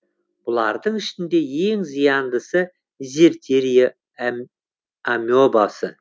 бұлардың ішінде ең зияндысы дизентерия амебасы